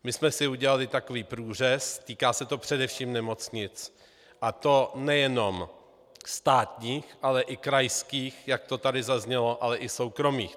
My jsme si udělali takový průřez, týká se to především nemocnic, a to nejenom státních, ale i krajských, jak to tady zaznělo, ale i soukromých.